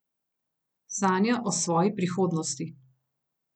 Sanja o svoji prihodnosti.